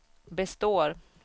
består